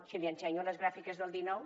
si li ensenyo les gràfiques del dinou